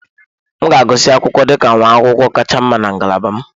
M ga-agụsị akwụkwọ dị ka nwa akwụkwọ kacha mma na ngalaba m.